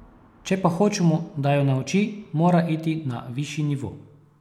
Če pa hočemo da jo nauči, mora iti na višji nivo.